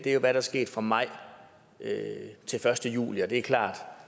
er hvad der skete fra maj til første juli og det er klart at